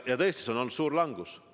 Ja tõesti, see on olnud suur langus.